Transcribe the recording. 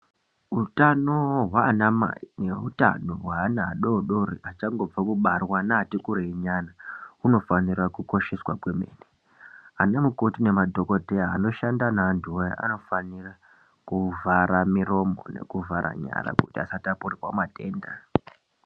Utano hwaanamai neutano hweana adodori achangobva kubarwa neatikureinyana hunofanira kukosheswa kwemene. Ana mukoti nemadhokodheya, anoshanda neantu aya, anofanira kuvhara miromo nekuvhara nyara kuti asatapurirwe matenda.